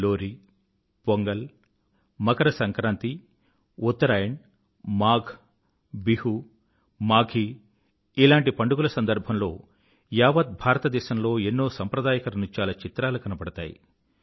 లోరీ పొంగల్ మకర సంక్రాంతి ఉత్తరాయణ్ మాఘ్ బిహూ మాఘీ ఇలాంటి పండుగల సందర్భంలో యావత్ భారతదేశంలో ఎన్నో సంప్రదాయక నృత్యాల చిత్రాలు కనబడతాయి